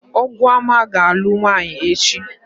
Ọgụọma ga-alụ nwaanyị echi.